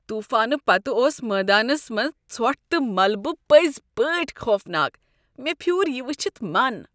طوفانہ پتہٕ اوس میدانس منٛز ژھۄٹھ تہٕ ملبہ پٔزۍ پٲٹھۍ خوفناک، مےٚ پھیُور یہ وٕچھتھ من۔